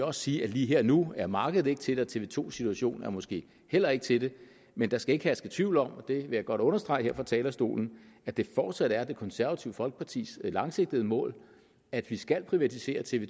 også sige at lige her og nu er markedet ikke til det og tv to situation er måske heller ikke til det men der skal ikke herske tvivl om og det vil jeg godt understrege her fra talerstolen at det fortsat er det konservative folkepartis langsigtede mål at vi skal privatisere tv